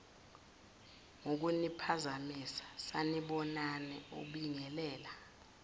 ngokuniphazamisa sanibonani ubingelela